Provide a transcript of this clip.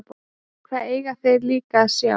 Hvað eiga þeir líka að sjá?